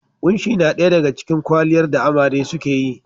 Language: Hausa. Kunshi na daya daga cikin kwaliyar da amare suke yi.